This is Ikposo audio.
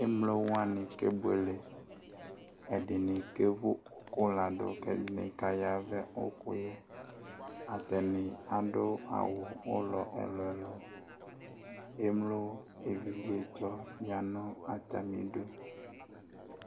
Emlowani kebuele Ɛdini kevu uku ladu ku edini ka ya vɛ uku yɛ Atani adu awu ulɔ ɛlu ɛlu Emlo evidzetsɔ ya nu atami udu